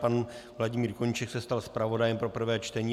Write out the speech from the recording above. Pan Vladimír Koníček se stal zpravodajem pro prvé čtení.